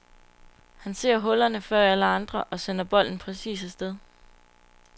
Han ser hullerne før alle andre og sender bolden præcist afsted.